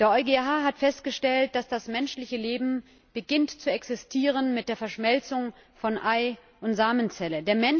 Der EuGH hat festgestellt, dass das menschliche Leben beginnt zu existieren mit der Verschmelzung von Ei und Samenzelle.